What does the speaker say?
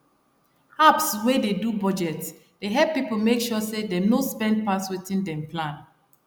apps wey dey do budget dey help people make sure say dem no spend pass wetin dem plan